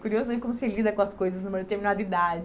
Curioso em como se lida com as coisas numa determinada idade.